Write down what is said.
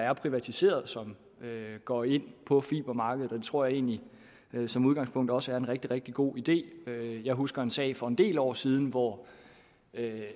er privatiseret som går ind på fibermarkedet og det tror jeg egentlig som udgangspunkt også er en rigtig rigtig god idé jeg husker en sag fra for en del år siden hvor